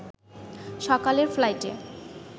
সকালের ফ্লাইটে